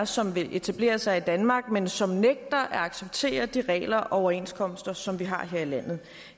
som vil etablere sig i danmark men som nægter at acceptere de regler og overenskomster som vi har her i landet